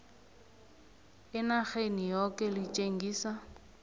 enarheni yoke litjengise